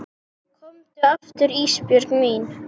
Komdu aftur Ísbjörg mín.